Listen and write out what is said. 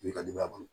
I ka denbaya bolo